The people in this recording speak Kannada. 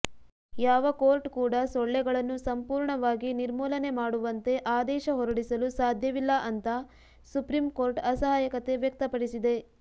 ಯಾವ ಕೋರ್ಟ್ ಕೂಡ ಸೊಳ್ಳೆಗಳನ್ನು ಸಂಪೂರ್ಣವಾಗಿ ನಿರ್ಮೂಲನೆ ಮಾಡುವಂತೆ ಆದೇಶ ಹೊರಡಿಸಲು ಸಾಧ್ಯವಿಲ್ಲ ಅಂತಾ ಸುಪ್ರೀಂ ಕೋರ್ಟ್ ಅಸಹಾಯಕತೆ ವ್ಯಕ್ತಪಡಿಸಿದೆ